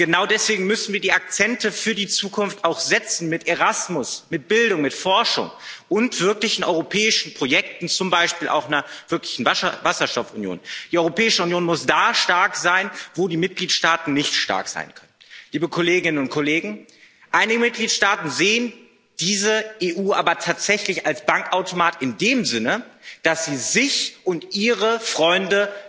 Und genau deswegen müssen wir die Akzente für die Zukunft auch setzen mit Erasmus, mit Bildung, mit Forschung und wirklichen europäischen Projekten, zum Beispiel auch einer wirklichen Wasserstoffunion. Die Europäische Union muss da stark sein, wo die Mitgliedstaaten nicht stark sein können. Einige Mitgliedstaaten sehen diese EU aber tatsächlich als Bankautomat in dem Sinne, dass sie sich und ihre Freunde